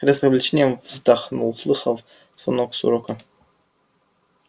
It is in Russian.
гарри с облегчением вздохнул услыхав звонок с урока